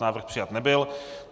Návrh přijat nebyl.